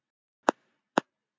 Ég átti hér leið hjá.